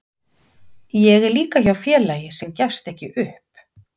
Ég er líka hjá félagi sem gefst ekki upp.